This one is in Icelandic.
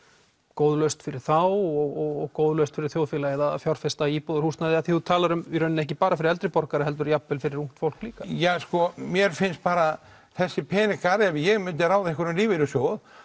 góð lausn fyrir þá og góð lausn fyrir þjóðfélagið að fjárfesta í íbúðarhúsnæðum því þú talar ekki bara fyrir eldri borgurum heldur jafnvel fyrir ungt fólk líka ja sko mér finnst bara þessi peningar ef ég ræði einhverju í lífeyrissjóði